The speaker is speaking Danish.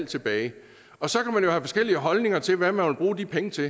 tilbage så kan man jo have forskellige holdninger til hvad man vil bruge de penge til